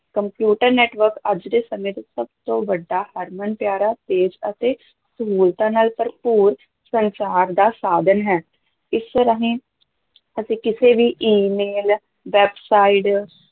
computer network ਅੱਜ ਦੇ ਸਮੇਂ ਦਾ ਸਭ ਤੋਂ ਵੱਡਾ ਹਰਮਨ ਪਿਆਰਾ ਤੇਜ ਅਤੇ ਸਹੂਲਤਾਂ ਨਾਲ ਭਰਪੂਰ ਸੰਚਾਰ ਦਾ ਸਾਧਨ ਹੈ, ਇਸ ਰਾਹੀਂ ਅਸੀਂ ਕਿਸੇ ਵੀ email, websites